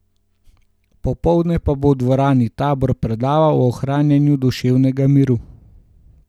Popoldne pa bo v Dvorani Tabor predaval o ohranjanju duševnega miru.